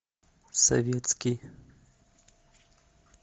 советский